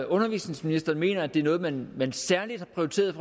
undervisningsministeren mener altså at det er noget man særligt har prioriteret